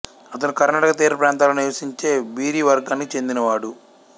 అతను కర్ణాటక తీర ప్రాంతాలలో నివసించే బీరీ వర్గానికి చెందినవాడు